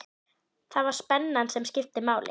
Það var spennan sem skipti máli.